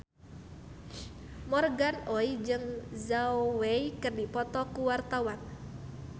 Morgan Oey jeung Zhao Wei keur dipoto ku wartawan